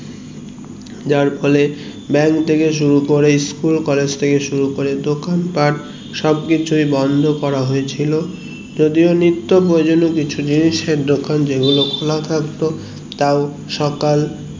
যার ফলে ব্যাঙ্ক থেকে শুরু করে school college থেকে শুরু করে দোকান পাট সব কিছুই বন্ধ করা হয়েছিল যদিও নিত্ব প্রয়োজনীয় কিছু জিনিস এর দোকান যেগুলো খোলা থাকতো তাও সকাল